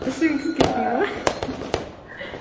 ішің пысып кетпей ме